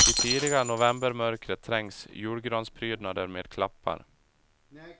I tidiga novembermörkret trängs julgransprydnader med klappar.